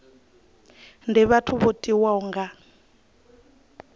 ndi vhathu vho tiwaho nga